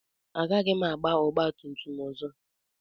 Agaghị m agba ọgba tum tum ọzọ.